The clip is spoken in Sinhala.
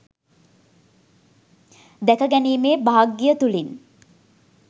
දැකගැනීමේ භාග්‍යය තුළින්